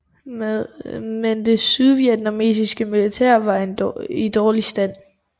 Men det sydvietnamesiske militær var i dårlig stand